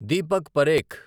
Deepak Parekh